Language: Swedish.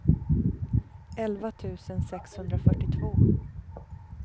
elva tusen sexhundrafyrtiotvå